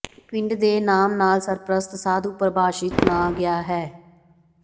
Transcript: ਪਿੰਡ ਦੇ ਨਾਮ ਨਾਲ ਸਰਪ੍ਰਸਤ ਸਾਧੂ ਪ੍ਰਭਾਸ਼ਿਤ ਨਾ ਗਿਆ ਹੈ